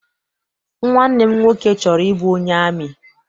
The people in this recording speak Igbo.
Nwanne m nwoke chọrọ ịbụ onye amị.